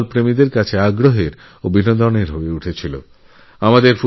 ফুটবলপ্রেমীদের জন্য পুরো ফুটবল টুর্ণামেণ্টই ছিল অত্যন্ত মনোরঞ্জক